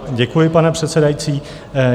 Děkuji, pane předsedající.